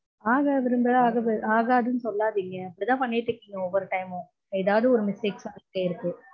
ஆகாது ஆகாதுனு சொல்லாதீங்க. இப்படிதா பண்ணிட்டிருக்கீங்க ஒவ்வொரு time மும். எதாவது ஒரு mistakes வந்துட்டே இருக்கு